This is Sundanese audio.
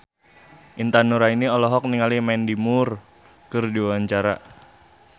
Intan Nuraini olohok ningali Mandy Moore keur diwawancara